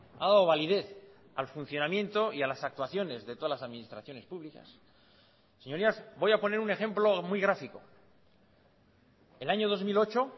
ha dado validez al funcionamiento y a las actuaciones de todas las administraciones públicas señorías voy a poner un ejemplo muy grafico el año dos mil ocho